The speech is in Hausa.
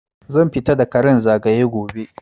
Zan fita da karan zagaya gobe